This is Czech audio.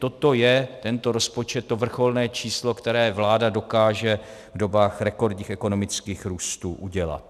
Toto je, tento rozpočet, to vrcholné číslo, které vláda dokáže v dobách rekordních ekonomických růstů udělat.